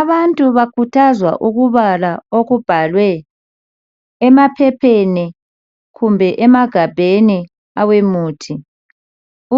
Abantu bakhuthazwa ukubala okubhalwe emaphepheni kumbe emagabheni awemuthi